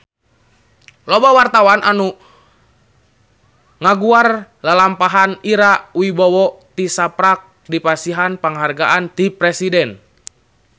Loba wartawan anu ngaguar lalampahan Ira Wibowo tisaprak dipasihan panghargaan ti Presiden